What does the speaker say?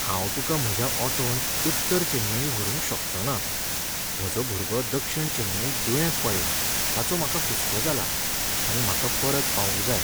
हांव तुका म्हज्या ऑटोन उत्तर चेन्नई व्हरूंक शकचोंना. म्हजो भुरगो दक्षीण चेन्नईंत दुयेंत पडला ताचो म्हाका हुसको जाला आनी म्हाका परत पावूंक जाय.